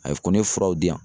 A ye koni furaw di yan.